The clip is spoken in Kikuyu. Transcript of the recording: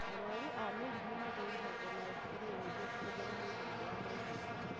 Arwaru a mĩrimũ mathũrimagwo na X-ray nĩguo kũmenya mahĩndĩ marĩa maunĩku